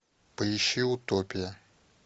поищи утопия